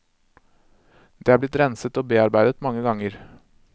Det er blitt renset og bearbeidet mange ganger.